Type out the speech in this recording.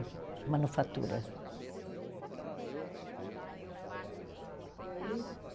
Manufatura. E aí,